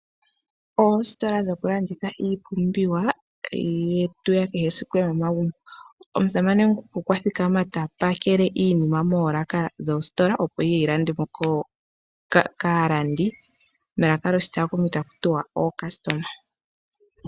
Oositola dhoku landitha iipumbiwa yetu yakehe esiku yomomagumbo. Omusamane nguka okwa thikama ta pakele iinima moolaaka dhositola opo yile yi landwe mo kaalandi melaka lyoshitakumi taku tiwa oocustomer.